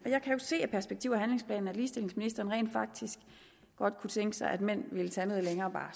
jeg kan jo se af perspektiv og handlingsplanen at ligestillingsministeren rent faktisk godt kunne tænke sig at mænd ville tage noget længere